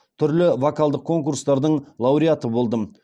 түрлі вокалдық конкурстардың лауреаты болдым